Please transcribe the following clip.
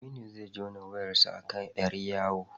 Aminu zai jona wayarsa a kan ƴar yawo.